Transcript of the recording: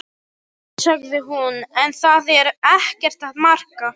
Nei, sagði hún, en það er ekkert að marka.